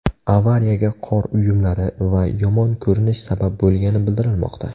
Avariyaga qor uyumlari va yomon ko‘rinish sabab bo‘lgani bildirilmoqda.